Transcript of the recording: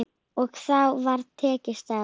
Og þá var tekist á.